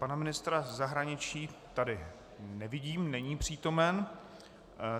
Pana ministra zahraničí tady nevidím, není přítomen.